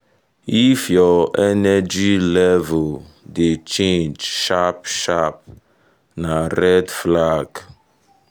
if your energy level dey change sharp sharp na red flag.